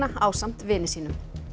ásamt vini sínum